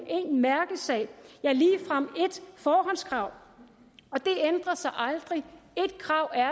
én mærkesag ja ligefrem ét forhåndskrav og det ændrer sig aldrig ét krav er